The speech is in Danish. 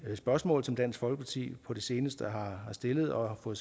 spørgsmål som dansk folkeparti på det seneste har stillet og for